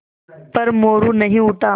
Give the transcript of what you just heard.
पर मोरू नहीं उठा